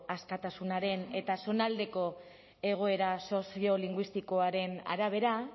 askatasunaren eta zonaldeko egoera soziolinguistikoaren arabera